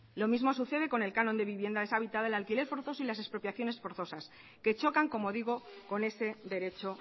lo mismo sucede con el canon de vivienda deshabitada el alquiler forzoso y las expropiaciones forzosas que chocan como digo con ese derecho